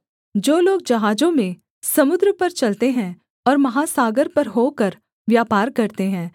जो लोग जहाजों में समुद्र पर चलते हैं और महासागर पर होकर व्यापार करते हैं